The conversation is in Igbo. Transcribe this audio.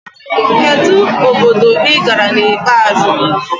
Kedu obodo ị gara na ikpeazụ?